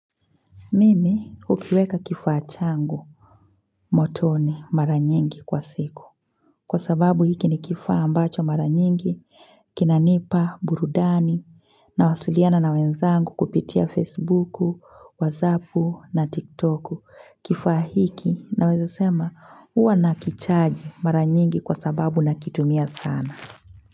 Mimi hukiweka kifaa changu motoni mara nyingi kwa siku. Kwa sababu hiki ni kifaa ambacho mara nyingi, kinanipa, burudani, na wasiliana na wenzangu kupitia Facebooku, Wazapu na TikToku. Kifaa hiki na weza sema huwa na kichaji mara nyingi kwa sababu na kitumia sana.